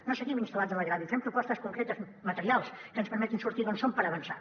no seguim instal·lats en el greuge fem propostes concretes materials que ens permetin sortir d’on som per avançar